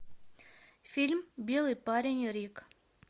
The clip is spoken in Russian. фильм белый парень рик